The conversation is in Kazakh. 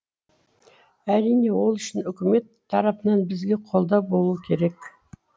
әрине ол үшін үкімет тарапынан бізге қолдау болуы керек